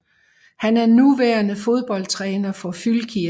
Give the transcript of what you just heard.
Han er nuværende fodboldtræner for Fylkir